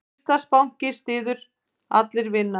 Íslandsbanki styður Allir vinna